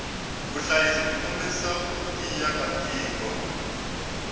vuhhashi bwikombisa kutiya katiko